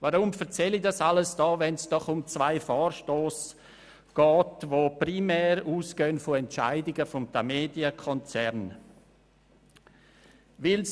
Weshalb erzähle ich Ihnen dies alles, wo es doch hier um zwei Vorstösse geht, die primär von Entscheidungen des Tamedia-Konzerns ausgelöst wurden?